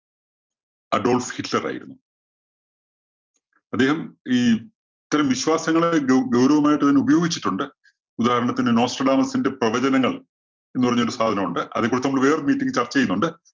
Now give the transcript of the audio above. Adolf Hitler‍ ആയിരുന്നു. അദ്ദേഹം ഈ ഇത്തരം വിശ്വാസങ്ങളെ ഗൗ~ഗൗരവമായിട്ട് തന്നെ ഉപയോഗിച്ചിട്ടുണ്ട്. ഉദാഹരണത്തിന് നോസ്റ്റര്‍ ഡാേമസിന്റെ പ്രവചനങ്ങള്‍ എന്ന് പറഞ്ഞോണ്ടൊരു സാധനം ഒണ്ട്. അതെ കുറിച്ച് നമ്മള് വേറൊരു meeting ല്‍ ചര്‍ച്ച ചെയ്യുന്നുണ്ട്.